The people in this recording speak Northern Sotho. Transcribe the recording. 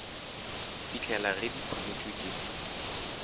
fihlela ge di phumotšwe ke